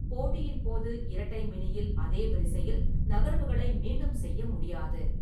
போட்டியின் போது இரட்டை மினியில் அதே வரிசையில் நகர்வுகளை மீண்டும் செய்ய முடியாது.